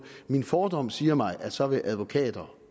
at min fordom siger mig at så vil advokater